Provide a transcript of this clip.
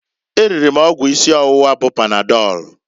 E riri m ọgwụ isi ọwụwa bụ panadọlụ